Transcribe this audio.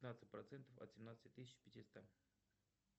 пятнадцать процентов от семнадцати тысяч пятиста